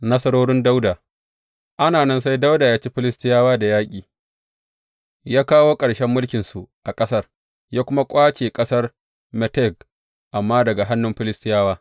Nasarorin Dawuda Ana nan, sai Dawuda ya ci Filistiyawa da yaƙi, ya kawo ƙarshen mulkinsu a ƙasar, ya kuma ƙwace ƙasar Meteg Amma daga hannun Filistiyawa.